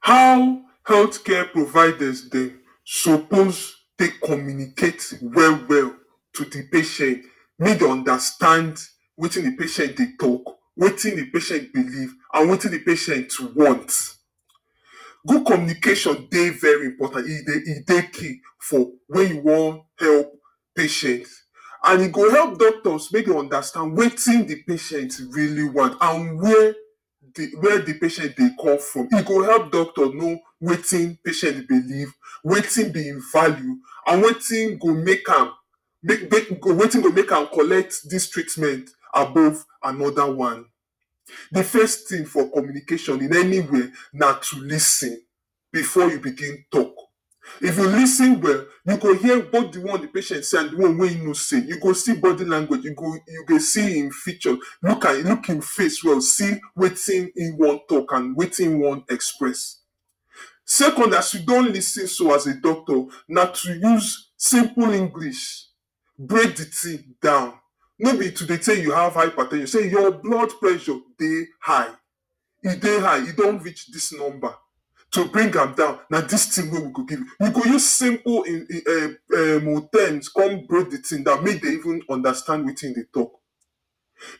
How health care providers dem suppose take communicate well well to de patien, make dem understand wetin de patien dey talk, wetin de patien believe and wetin de patient want? Good communication dey very important e dey key for wey you wan help patient and e go help doctors make dem understand wetin the patient really want and where de where de patient dey come from, e go help doctor know wetin patient believe, wetin be im values, and wetin go make make am make make wetin go make am collect dis treatment above another one. De first thing for communication in anywhere na to lis ten, before you begin talk. If you lis ten well, you go hear both de one wey patient say and de one wey im no say you go see body language you go you go see im feature look am look im face well see wetin im want talk and wetin im want express. Secondly, as you don lis ten so, as a doctor na to use simple English break de thing down, no be to dey say you have hyper ten sey your blood pressure dey high, e dey high e don reach dis number to bring am down na dis thing wey we go give you. You go use simple um um um terms come break de thing down make dem even understand wetin you dey talk.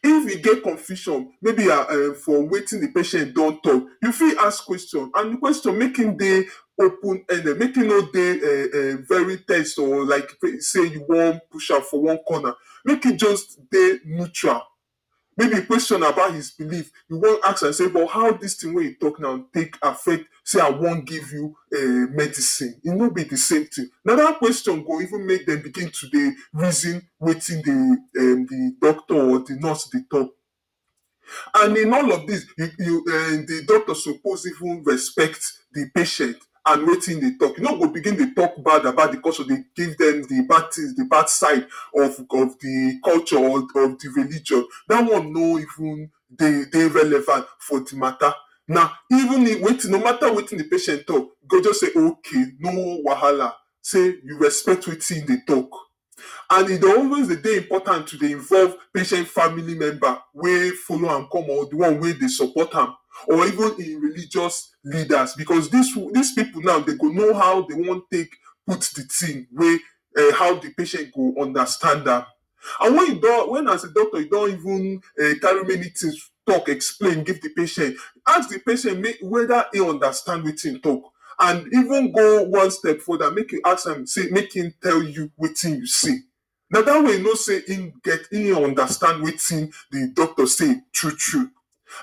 if you geh confusion maybe um for wetin de patient don talk you fit ask question and de question make e dey open ended make you no dey um um very ten se or like sey you wan push am for one corner make e just dey mutual maybe de question about his believe you want ask am sey but how dis tin wey you talk now take affect sey I want give you um medicine e no be de same thing. Na dat question go even make dem begin to dey reason wetin dey um de doctor or de nurse dey talk and in all of dis de doctor suppose even respect de patient and wetin im dey talk e no go begin talk bad about de culture dey give dem de bad things de bad side of de of de culture or of de religion dat one no even dey dey relevant for de mata, na even if wetin no mata wetin de patient talk you go just say ok no wahala sey you respect wetin im dey talk and e dey always dey dey important to dey involve patient family member wey follow am come or de one wey dey support am or even im religious leaders, becos dis um dis pipu now dem go know how dey wan take put de thing wey um how de patient go understand am. And wen you don as a doctor you don even um carry many things talk explain give de patient, ask de patient [make] whether im understand wetin im talk and even go one step further make you ask am sey make im tell you wetin you say. Na dat way understand you know say im get im understand wetin de doctor say true true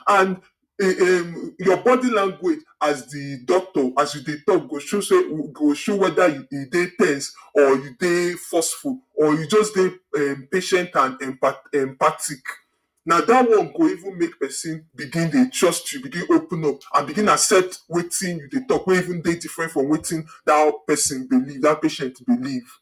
and [um um] your body language as de doctor as you dey talk go show sey you whether dey ten se or you dey forceful or you just dey um patient and empathic na dat one go even make person begin dey trust you begin open up and begin accept wetin you dey talk wey even dey different from wetin dat person believe dat patient believe.